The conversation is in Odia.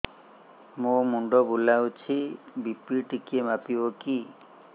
ମୋ ମୁଣ୍ଡ ବୁଲାଉଛି ବି.ପି ଟିକିଏ ମାପିବ କି